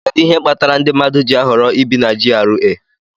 Kedu ihe kpatara ndị mmadụ ji ahọrọ ibi na GRA